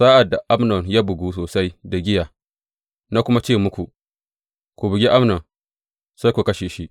Sa’ad da Amnon ya bugu sosai da giya na kuma ce muku, Ku bugi Amnon,’ sai ku kashe shi.